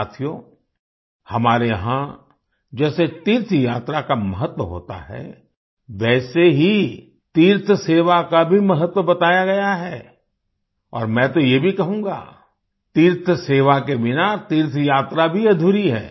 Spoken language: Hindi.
साथियो हमारे यहाँ जैसे तीर्थयात्रा का महत्व होता है वैसे ही तीर्थसेवा का भी महत्व बताया गया है और मैं तो ये भी कहूँगा तीर्थसेवा के बिना तीर्थयात्रा भी अधूरी है